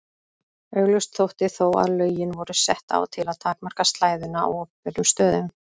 Augljóst þótti þó að lögin voru sett á til að takmarka slæðuna á opinberum stöðum.